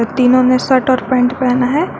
तीनों ने शर्ट और पैंट पहना है।